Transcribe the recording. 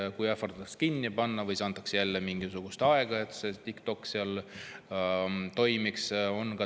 TikTokki on ähvardatud kinni panna ja siis on antud jälle aega, et see seal edasi toimiks.